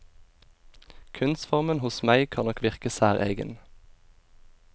Kunstformen hos meg kan nok virke særegen.